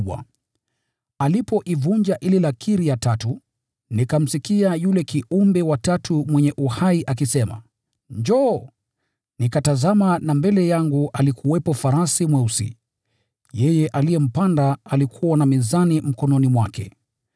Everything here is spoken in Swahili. Mwana-kondoo alipoivunja ile lakiri ya tatu, nikamsikia yule kiumbe wa tatu mwenye uhai akisema, “Njoo!” Nikatazama, na mbele yangu alikuwepo farasi mweusi! Yeye aliyempanda alikuwa na mizani mkononi mwake.